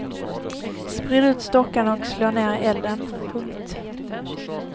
Sprid ut stockarna och slå ner elden. punkt